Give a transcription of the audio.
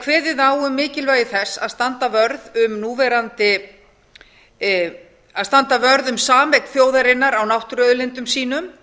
kveðið á um mikilvægi þess að standa vörð um sameign þjóðarinnar á náttúruauðlindum sínum